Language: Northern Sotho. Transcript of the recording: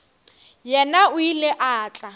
yena o ile a tla